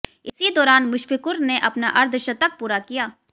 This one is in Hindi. इसी दौरान मुश्फिकुर ने अपना अर्द्धशतक पूरा किया